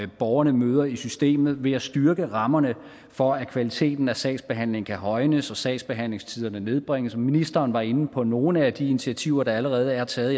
borgerne møder i systemet ved at styrke rammerne for at kvaliteten af sagsbehandlingen kan højnes og at sagsbehandlingstiderne nedbringes ministeren var inde på nogle af de initiativer der allerede er taget